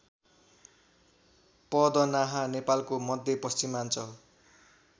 पदनाहा नेपालको मध्यपश्चिमाञ्चल